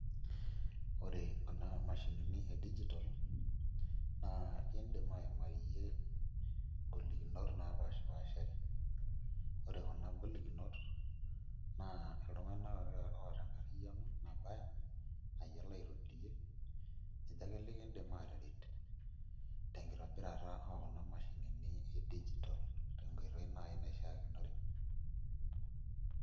Ore kuna mashinini e digital na indim aimayie ngolokinot napashipashari, ore kuna golikinot na ltunganak ake oata enkariano nayiolo aitobirie ,ninche ake likindim ataret tenkitobirara okuna mashinini e digital tenkoitoi nai naishaare.